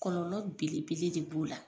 Kɔlɔlɔ belebele de b'o la.